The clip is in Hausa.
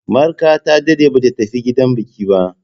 Marka ta daɗe ba ta tafi gidan biki ba.